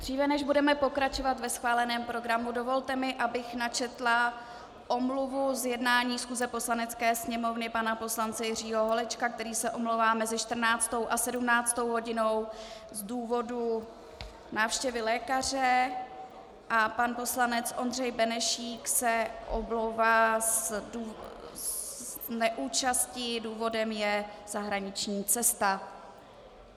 Dříve než budeme pokračovat ve schváleném programu, dovolte mi, abych načetla omluvu z jednání schůze Poslanecké sněmovny pana poslance Jiřího Holečka, který se omlouvá mezi 14. a 17. hodinou z důvodu návštěvy lékaře, a pan poslanec Ondřej Benešík se omlouvá z neúčasti - důvodem je zahraniční cesta.